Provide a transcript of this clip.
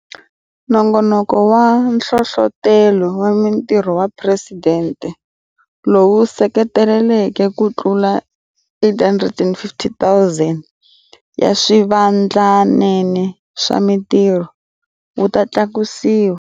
Nongonoko wa Nhlohlotelo wa Mitirho wa Presidente, lowu wu se seketeleke kutlula 850 000 ya swivandlanene swa mitirho, wu ta tlakusiwa.